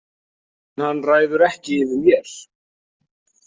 En hann ræður ekki yfir mér.